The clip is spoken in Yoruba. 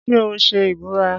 Ṣé o ṣe ìbúra?